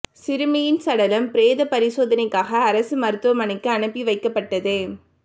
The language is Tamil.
சிறுமியின் சடலம் பிரேத பரிசோதனைக்காக அரசு மருத்துவனைக்கு அனுப்பி வைக்கப்பட்டது